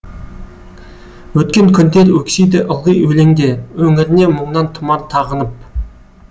өткен күндер өксиді ылғи өлеңде өңіріне мұңнан тұмар тағынып